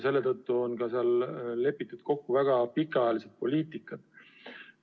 Selle tõttu on ka seal lepitud kokku väga pikaajalised poliitikad.